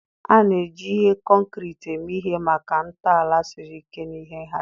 A na-eji ihe concrete eme ihe maka ntọala siri ike na ihe nhazi.